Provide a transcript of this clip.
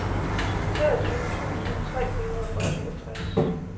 treogtyve tusind tre hundrede og syvogtres